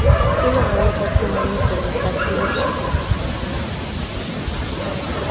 ka lengolo la semmuso mohlahlobi